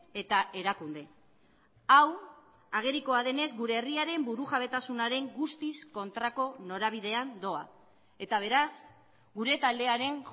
eta erakunde hau agerikoa denez gure herriaren burujabetasunaren guztiz kontrako norabidean doa eta beraz gure taldearen